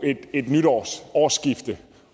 et nytårsårsskifte